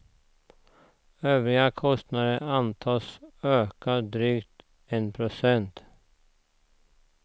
Övriga kostnader antas öka drygt en procent.